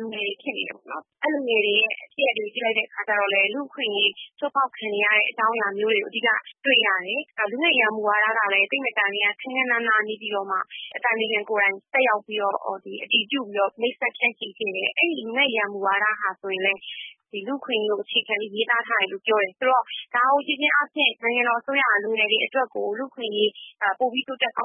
လူငယ်တွေဖြစ်နေတယ်ပေါ့နော်။ အဲဒီ လူငယ်တွေရဲ့ ဖြစ်ရပ်တွေကို ကြည့်လိုက်တဲ့ အခါကျတော့ လူ့အခွင့်အရေး ချိုးဖောက်ခံရတဲ့ အကြောင်းအရာမျိုးတွေကို အဓိကတွေ့ရတယ်။ လူငယ့်ရေးရာမူဝါဒကလည်း သိပ်မကြာမီ ခန်းခန်းနားနား နေပြည်တော်မှာ နိုင်ငံတော်အတိုင်ပင်ခံတက်ရောက်ပြီးတော့ အတည်ပြုပြီးတော့ မိတ်ဆက်ဖြန့်ချီခဲ့တယ်။ အဲဒီ လူငယ့်ရေးရာ မူဝါဒဟာဆိုရင်လည်း လူ့အခွင့်အရေးကို အခြေခံပြီး ရေးသားထားတယ်လို့ပြောတယ်။ ဒါကို ကြည့်ခြင်းဖြင့် နိုင်ငံတော်အစိုးရဟာ လူငယ်တွေ အတွက် လူ့အခွင့်အရေးပိုပြီးတိုးတက်စေချ